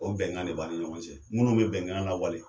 O bɛnkan de b' ani ɲɔgɔn cɛ, minnu bɛ bɛnkan la wale.